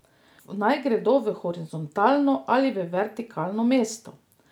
Naj gredo v horizontalno ali v vertikalno mesto?